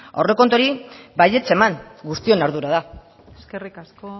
aurrekontuari baietz eman guztion ardura da eskerrik asko